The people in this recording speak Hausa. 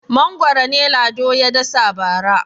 Mangwaro ne Lado ya dasa bara.